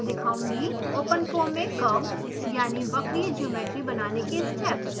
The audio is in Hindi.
ओपन फोम में curved यानि वक्रीय geometry बनाने के steps